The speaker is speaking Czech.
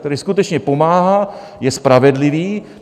Který skutečně pomáhá, je spravedlivý.